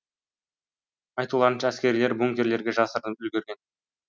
айтуларынша әскерлер бункерлерге жасырынып үлгерген